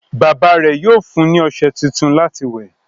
Bàbá rẹ̀ yóò fún ní ọṣẹ tuntun láti wẹ̀.